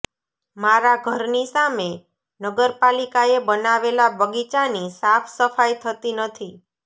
મારા ઘરની સામે નગરપાલિકાએ બનાવેલા બગીચાની સાફ સફાઇ થતી નથી